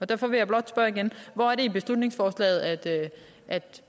derfor vil jeg blot spørge igen hvor er det i beslutningsforslaget at